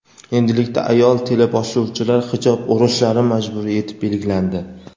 endilikda ayol teleboshlovchilar hijob o‘rashlari majburiy etib belgilandi.